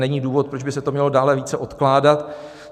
Není důvod, proč by se to mělo dále více odkládat.